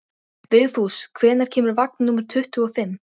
Berið fram með salati og nýbökuðu brauði.